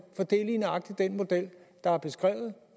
for det er lige nøjagtig den model der er beskrevet